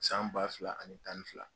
San ba fila ani tan ni fila